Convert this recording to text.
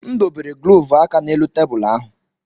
M dobere glọvu aka n'elu tebụl ahụ.